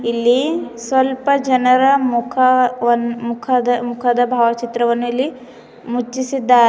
ಇಲ್ಲಿ ಸ್ವಲ್ಪ ಜನರ ಮುಖವನ್ನು ಮುಖದ ಮುಖದ ಭಾವಚಿತ್ರವನ್ನು ಇಲ್ಲಿ ಮುಚ್ಚಿಸಿದ್ದಾ --